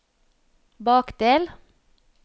bakdel